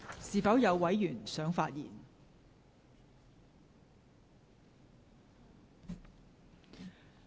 是否有委員想發言？